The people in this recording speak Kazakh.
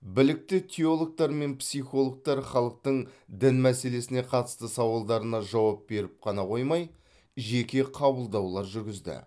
білікті теологтар мен психологтар халықтың дін мәселесіне қатысты сауалдарына жауап беріп қана қоймай жеке қабылдаулар жүргізді